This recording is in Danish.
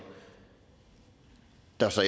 der så